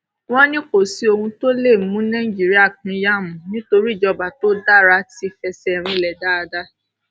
ó ní kò sí ohun tó lè mú nàìjíríà pínyà mọ nítorí ìjọba tó dára ti fẹsẹ rinlẹ dáadáa